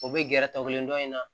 O bɛ gɛrɛtɛ o kelen dɔn in na